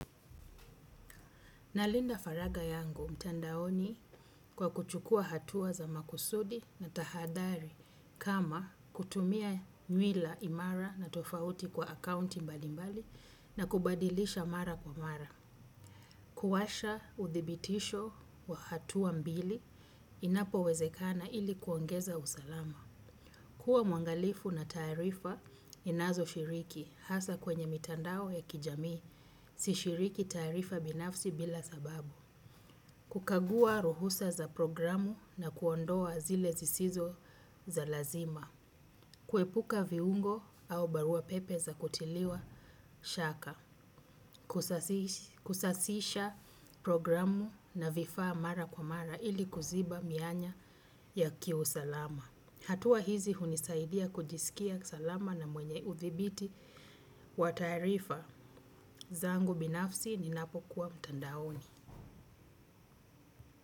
Nalinda faraga yangu mtandaoni kwa kuchukua hatuwa za makusudi na tahadhari kama kutumia nywila imara na tofauti kwa akaunti mbali mbali na kubadilisha mara kwa mara. Kuwasha uthibitisho wa hatuwa mbili inapowezekana ili kuongeza usalama. Kua mwangalifu na taarifa ninazoshiriki hasa kwenye mitandao ya kijamii si shiriki taarifa binafsi bila sababu. Kukagua ruhusa za programu na kuondoa zile zisizo za lazima. Kuepuka viungo au barua pepe za kutiliwa shaka. Kusasisha programu na vifaa mara kwa mara ili kuziba mianya ya kiusalama. Hatua hizi hunisaidia kujisikia salama na mwenye udhibiti wa tarifa. Zangu binafsi ninapokuwa mtandaoni.